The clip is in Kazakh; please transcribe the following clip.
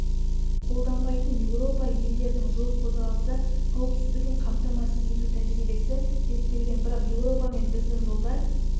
қолданбайтын еуропа елдерінің жол қозғалысы қауіпсіздігін қамтамасыз ету тәжірибесі зерттелген бірақ еуропа мен біздің жолдар